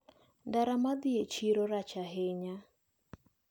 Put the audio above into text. Ndara madhi e chiro rach ahinya.